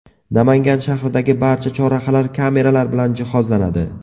Namangan shahridagi barcha chorrahalar kameralar bilan jihozlanadi.